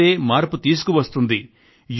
యువతే మార్పు తీసుకువస్తుంది